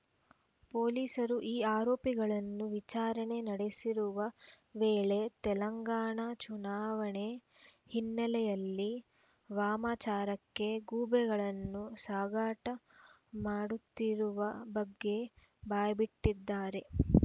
ಪೊಲೀಸರು ಈ ಆರೋಪಿಗಳನ್ನು ವಿಚಾರಣೆ ನಡೆಸುತ್ತಿರುವ ವೇಳೆ ತೆಲಂಗಾಣ ಚುನಾವಣೆ ಹಿನ್ನೆಲೆಯಲ್ಲಿ ವಾಮಾಚಾರಕ್ಕೆ ಗೂಬೆಗಳನ್ನು ಸಾಗಾಟ ಮಾಡುತ್ತಿರುವ ಬಗ್ಗೆ ಬಾಯ್ಬಿಟ್ಟಿದ್ದಾರೆ